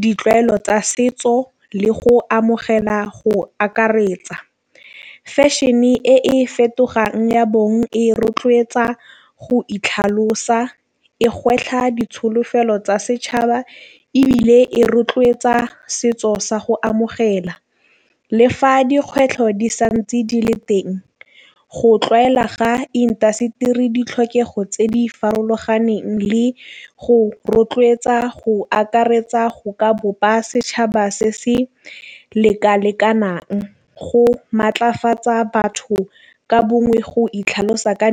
ditlwaelo tsa setso le go amogela go akaretsa. Fashion e e fetogang ya bong e rotloetsa go itlhalosa e gwetlha ditsholofelo tsa setšhaba, ebile e rotloetsa setso sa go amogela. Le fa dikgwetlho di sa ntse di le teng go tlwaela ga intaseteri ditlhokego tse di farologaneng le go rotloetsa go akaretsa go ka bopa setšhaba se se leka lekanang. Go maatlafatsa batho ka bongwe go itlhalosa ka .